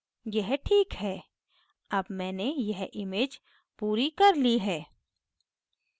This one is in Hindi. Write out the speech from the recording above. यह this है अब मैंने यह image पूरी कर ली है